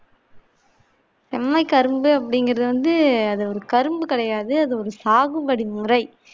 செம்மை கரும்பு அப்பிடிங்கிறது வந்து அது ஒரு கரும்பு கிடையாது அது ஒரு சாகுபடி முறை